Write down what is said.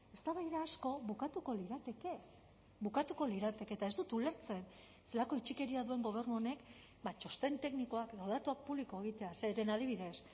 eztabaida asko bukatuko lirateke bukatuko lirateke eta ez dut ulertzen zelako itxikeria duen gobernu honek txosten teknikoak edo datuak publiko egitea zeren adibidez